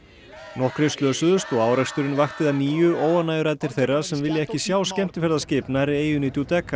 nokkrir slösuðust og áreksturinn vakti að nýju óánægjuraddir þeirra sem vilja ekki sjá skemmtiferðaskip nærri eyjunni